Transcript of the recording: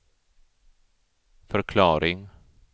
förklaring